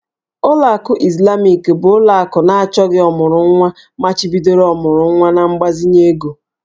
Ụlọ akụ Izlamik bụ ụlọ akụ na achọgị ọmụrụnwa machibidoro ọmụrụnwa na mgbazinye ego